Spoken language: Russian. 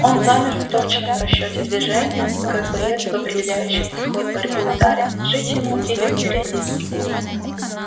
он замер в точном расчёте движения как боец в определяющем исход борьбы ударе жить ему или умереть